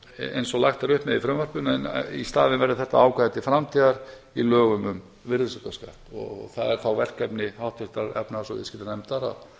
eins og lagt er upp með í frumvarpinu en í staðinn verði þetta ákvæði til framtíðar í lögum um virðisaukaskatt og það er þá verkefni háttvirtrar efnahags og viðskiptanefndar